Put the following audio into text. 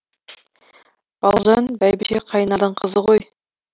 балжан бәйбіше қайнардың қызы ғой